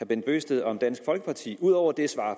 bent bøgsted om dansk folkeparti ud over det svar